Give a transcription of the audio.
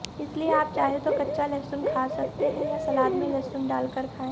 इसलिए आप चाहे तो कच्चा लहसुन खा सकते हैं या सलाद में लहसुन डालकर खाएं